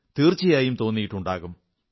തീർച്ചയായും തോന്നിയിട്ടുണ്ടാകും